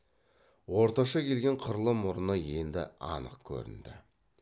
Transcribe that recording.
орташа келген қырлы мұрыны енді анық көрінді